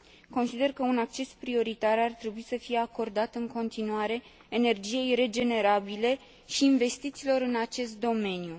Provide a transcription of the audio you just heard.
Consider că un acces prioritar ar trebui să fie acordat în continuare energiei regenerabile și investițiilor în acest domeniu.